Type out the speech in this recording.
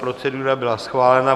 Procedura byla schválena.